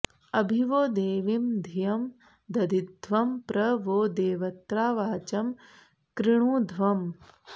अभि वो देवीं धियं दधिध्वं प्र वो देवत्रा वाचं कृणुध्वम्